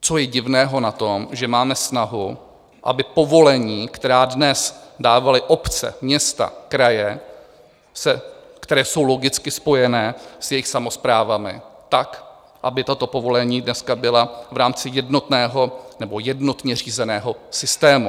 Co je divného na tom, že máme snahu, aby povolení, která dnes dávaly obce, města, kraje, která jsou logicky spojená s jejich samosprávami, tak aby tato povolení dneska byla v rámci jednotného nebo jednotně řízeného systému?